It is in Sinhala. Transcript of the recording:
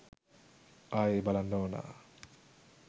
ආයේ බලන්න ඕනා